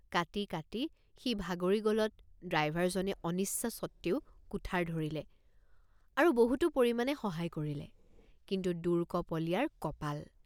কাটি কাটি সি ভাগৰি গলত ড্ৰাইভাৰজনে অনিচ্ছা সত্ত্বেও কুঠাৰ ধৰিলে আৰু বহুতো পৰিমাণে সহায় কৰিলে কিন্তু দুৰ্কপলীয়াৰ কপাল!